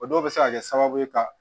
O dɔw bɛ se ka kɛ sababu ye ka